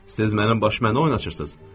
Siz mənim başıma nə oyun açırsınız?